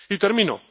Y termino.